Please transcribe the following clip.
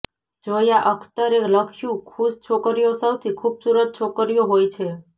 જોયા અખ્તરે લખ્યું ખુશ છોકરીઓ સૌથી ખૂબસૂરત છોકરીઓ હોય છે